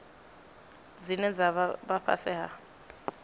dzine dza vha fhasi ha